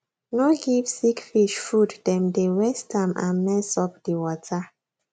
no give sick fish fooddem dey waste am and mess up di water